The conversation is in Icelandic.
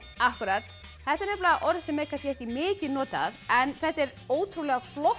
akkúrat þetta er orð sem er kannski ekki mikið notað en þetta er ótrúlega flott